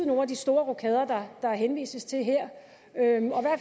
nogle af de store rokader der henvises til her